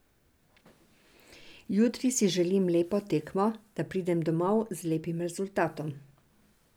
Jutri si želim lepo tekmo, da pridem domov z lepim rezultatom.